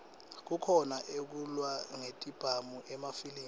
kukhona ekulwa ngetibhamu emafilimi